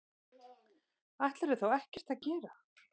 Ætlarðu þá ekkert að gera?